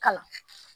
Kalan